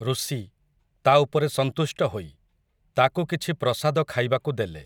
ଋଷି, ତା' ଉପରେ ସନ୍ତୁଷ୍ଟ ହୋଇ, ତାକୁ କିଛି ପ୍ରସାଦ ଖାଇବାକୁ ଦେଲେ ।